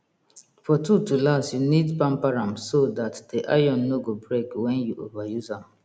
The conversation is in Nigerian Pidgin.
for tool to last you need pamper am so dat de iron no go break wen you over use am